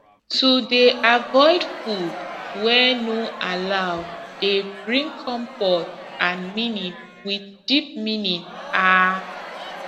to dey avoid food wey no allow dey bring comfort and meaning with deep meaning ah